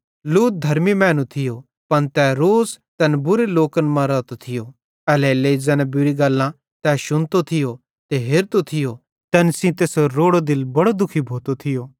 लूत धर्मी मैनू थियो पन तै रोज़ तैन बुरे लोकन मां रातो थियो एल्हेरेलेइ ज़ैन बुरी गल्लां तै शुनतो थियो ते हेरतो थियो तैन सेइं तैसेरो रोड़ो दिल बड़ो दुखी भोतो थियो